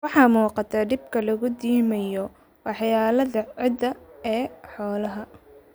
Waxaa muuqata dhibka lagu dhimayo waxyeelada ciidda ee xoolaha.